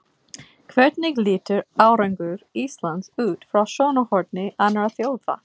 Hvernig lítur árangur Íslands út frá sjónarhorni annarra þjóða?